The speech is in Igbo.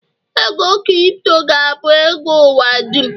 ego Kripto ga-abụ ego ụwa dum